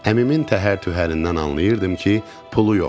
Əmimin təhər-tühərindən anlayırdım ki, pulu yoxdur.